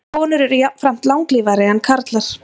Konur eru jafnframt langlífari en karlar.